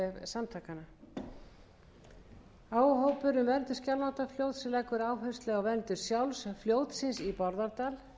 samtakanna áhugahópur um verndun skjálfandafljóts leggur áherslu á verndun sjálfs fljótsins í bárðardal